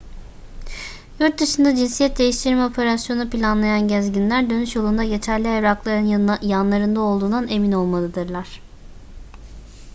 yurtdışında cinsiyet değiştirme operasyonu planlayan gezginler dönüş yolunda geçerli evrakların yanlarında olduğundan emin olmalıdırlar